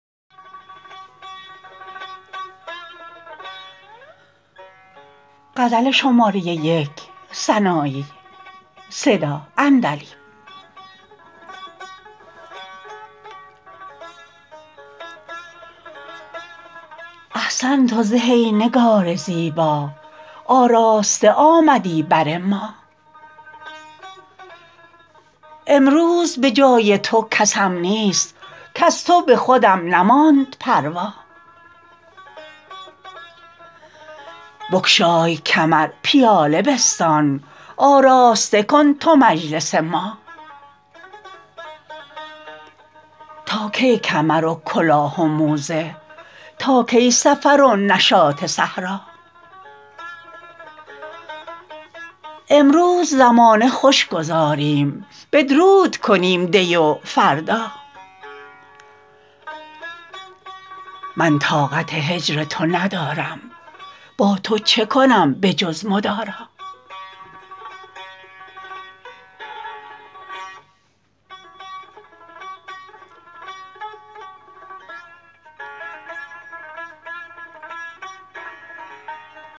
احسنت و زه ای نگار زیبا آراسته آمدی بر ما امروز به جای تو کسم نیست کز تو به خودم نماند پروا بگشای کمر پیاله بستان آراسته کن تو مجلس ما تا کی کمر و کلاه و موزه تا کی سفر و نشاط صحرا امروز زمانه خوش گذاریم بدرود کنیم دی و فردا من طاقت هجر تو ندارم با تو چه کنم به جز مدارا